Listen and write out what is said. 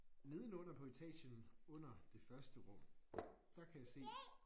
Nedenunder på etagen nedenunder det første run der kan jeg se